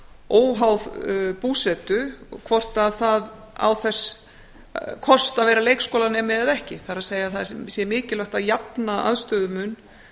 óháð búsetu hvort að það á þess kost að vera leikskólanemi eða ekki það er það sé mikilvægt að jafna aðstöðumun